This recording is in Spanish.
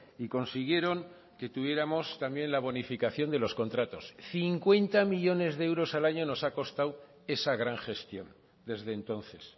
y consiguieron que tuviéramos también la bonificación de los contratos cincuenta millónes de euros al año nos ha costado esa gran gestión desde entonces